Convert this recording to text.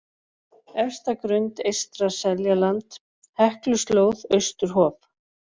Efsta-Grund, Eystra Seljaland, Hekluslóð, Austurhof